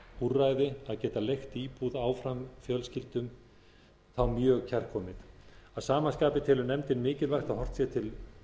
úrræði að geta leigt íbúð áfram fjölskyldum þá mjög kærkomið að sama skapi telur nefndin mikilvægt að horft sé til